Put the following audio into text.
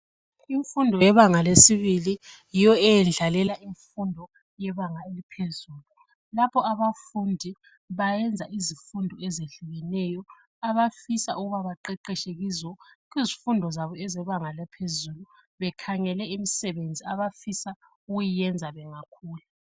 Imfundo yebanga lesibili. Yiyo ieyendlalela imfundo yebanga eliphezulu. Lapho abafundi bayenza izifundo ezehlukeneyo. Abafisa ukuba baqeqetshe kizo. Kuzifundo zabo zebanga laphezulu. Bekhangele imisebenzi abafisa ukuyenza bangakhula.